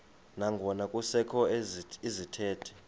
nangona kusekho izithethi